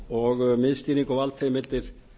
og miðstýring og valdheimildir